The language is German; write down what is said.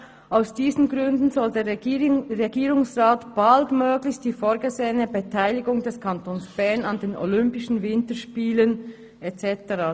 «Aus diesen Gründen soll der Regierungsrat baldmöglichst die vorgesehene Beteiligung des Kantons Bern an den olympischen Winterspielen» und so weiter.